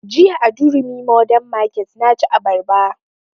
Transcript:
Jiya a durumi modern market na ci abarba